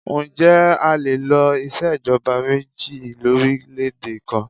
Ǹjẹ́ a lè lo ìṣèjọba méjì lórílèèdè kan?